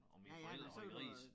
Og mine forældre havde grise